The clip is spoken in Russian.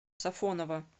сафоново